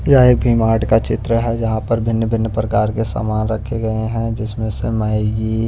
यह एक भीमार्ट का चित्र है जहां पर भिन्न-भिन्न प्रकार के सामान रखे गए हैं जिसमें से मैं ये--